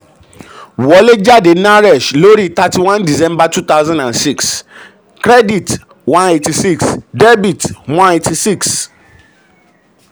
wọlé jáde naresh lórí lórí thirty one december two thousand and six: debit one eight six credit one eighty six.